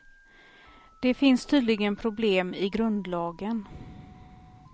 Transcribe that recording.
Det finns tydligen problem i grundlagen.